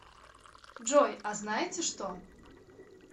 джой а знаете что